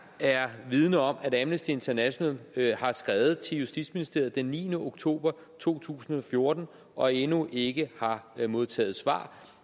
er vidende om at amnesty international har skrevet til justitsministeriet den niende oktober to tusind og fjorten og endnu ikke har modtaget svar